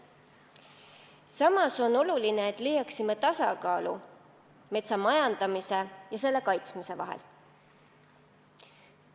Samas on oluline, et leiaksime tasakaalu metsa majandamise ja selle kaitsmise vahel.